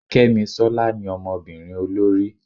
kemisola ní Ọmọbinrin olorí